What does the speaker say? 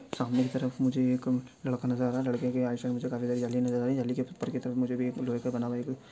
सामने की तरफ मुझे एक लड़का नजर आ रहा है लड़के के आस पास मुझे कुछ जाली नजर आयी जाली के ऊपर की तरफ मुझे एक लोहे का बना हुआ एक।